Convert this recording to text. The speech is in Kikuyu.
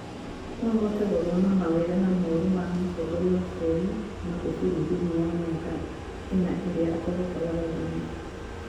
No ũhote gũthoma mawega na moru ma mũtongoria wa bũrũri Magufuli thĩiniĩ wa miaka ĩna ĩria akoretwo wathani-inĩ.